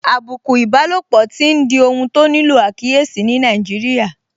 Àbùkù ìbálòpọ̀ tí n di ohun tó nílò àkíyèsí ní Nàìjíríà